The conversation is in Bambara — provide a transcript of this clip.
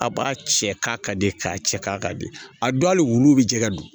A b'a cɛ k'a ka di k'a cɛ ka di a don hali wulu bɛ jɛgɛ don